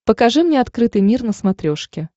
покажи мне открытый мир на смотрешке